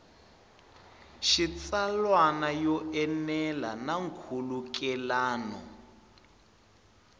xitsalwana yo enela na nkhulukelano